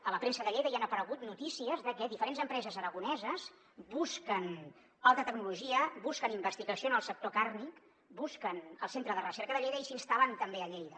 a la premsa de lleida hi han aparegut notícies de que diferents empreses aragoneses busquen alta tecnologia busquen investigació en el sector carni busquen el centre de recerca de lleida i s’instal·len també a lleida